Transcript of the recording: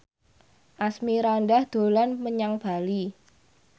Asmirandah dolan menyang Bali